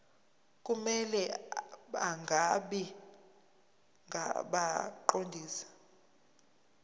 kumele bangabi ngabaqondisi